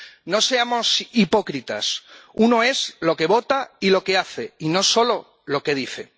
No seamos hipócritas uno es lo que vota y lo que hace y no solo lo que dice.